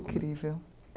Incrível.